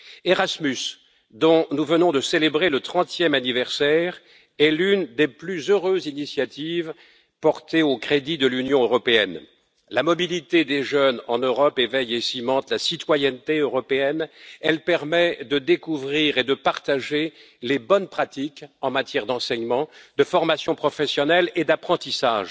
Erasmus, dont nous venons de célébrer le 30e anniversaire, est l'une des plus heureuses initiatives portées au crédit de l'Union européenne. La mobilité des jeunes en Europe éveille et cimente la citoyenneté européenne, elle permet de découvrir et de partager les bonnes pratiques en matière d'enseignement, de formation professionnelle et d'apprentissage.